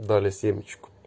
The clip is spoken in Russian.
дали семечку